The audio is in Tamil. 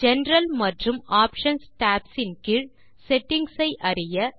ஜெனரல் மற்றும் ஆப்ஷன்ஸ் டாப்ஸ் கீழ் செட்டிங்ஸ் ஐ அறிய